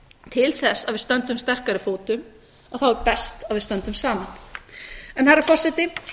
til þess að við stöndum sterkari fótum er best að við stöndum saman herra forseti